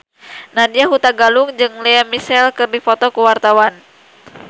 Nadya Hutagalung jeung Lea Michele keur dipoto ku wartawan